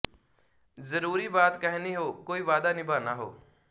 ਜ਼ਰੂਰੀ ਬਾਤ ਕਹਿਨੀ ਹੋ ਕੋਈ ਵਾਅਦਾ ਨਿਭਾਨਾ ਹੋ